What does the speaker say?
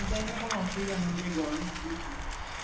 এমনি time এ কোনো অসুবিধা হয় না এখন এই গরমে খুবই সমস্যা